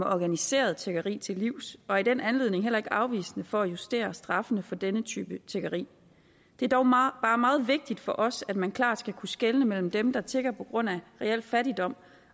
organiserede tiggeri til livs og i den anledning heller ikke afvisende over for at justere straffene for denne type tiggeri det er dog bare meget vigtigt for os at man klart skal kunne skelne mellem dem der tigger på grund af reel fattigdom